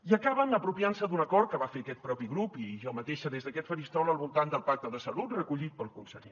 i acaben apropiant se d’un acord que va fer aquest propi grup i jo mateixa des d’aquest faristol al voltant del pacte de salut recollit pel conseller